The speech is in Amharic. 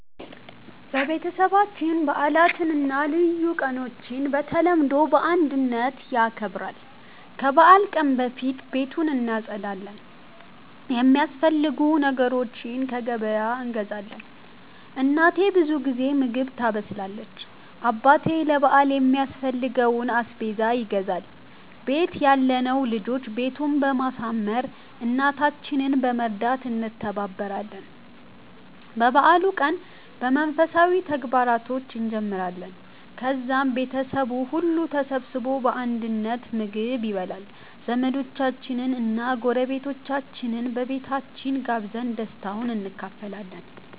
ቤተሰባችን በዓላትን እና ልዩ ቀኖችን በተለምዶ በአንድነት ያከብራል። ከበዓል ቀን በፊት ቤቱን እናጸዳለን፣ የሚያስፈልጉ ነገሮችን ከገበያ እንገዛለን። እናቴ ብዙ ጊዜ ምግብ ታበስላለች፣ አባቴ ለ በአል የሚያስፈልገውን አስቤዛ ይገዛል፣ ቤት ያለነው ልጆች ቤቱን በማሳመር፣ እናታችንን በመርዳት እንተባበራለን። የበዓሉን ቀን በመንፈሳዊ ተግባራቶች እንጀምራለን፣ ከዛም ቤተሰቡ ሁሉ ተሰብስቦ በአንድነት ምግብ ይበላል። ዘመዶቻችንን እና ጎረቤቶቻችንን በቤታችን ጋብዘን ደስታውን እንካፈላለን።